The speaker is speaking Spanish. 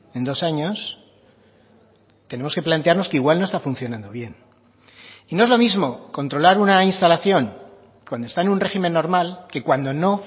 en dos años tenemos que plantearnos que igual no está funcionando bien y no es lo mismo controlar una instalación cuando está en un régimen normal que cuando no